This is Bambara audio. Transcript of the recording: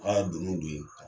Ŋ'a ka donin